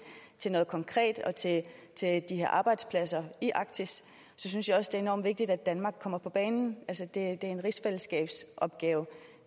til noget konkret og til de her arbejdspladser i arktis synes jeg også at enormt vigtigt at danmark kommer på banen det er en rigsfællesskabsopgave